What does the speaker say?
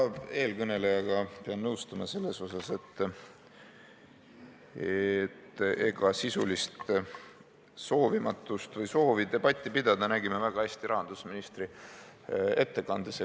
Ma pean eelkõnelejaga nõustuma selles osas, et sisulist soovimatust või soovi debatti pidada nägime väga hästi rahandusministri ettekandes.